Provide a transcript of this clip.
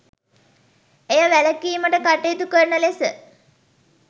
එය වැළකීමට කටයුතුකරන ලෙස